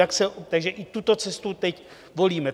Takže i tuto cestu teď volíme.